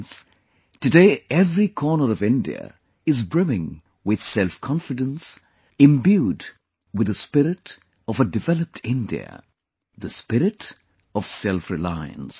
Friends, today every corner of India is brimming with selfconfidence, imbued with the spirit of a developed India; the spirit of selfreliance